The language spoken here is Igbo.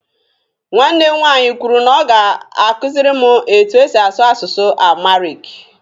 Nwanne m nwaanyị kwuru na ọ ga-akuziri m etu e si asụ asụsụ amuhariki.